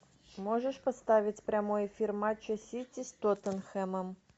можешь поставить прямой эфир матча сити с тоттенхэмом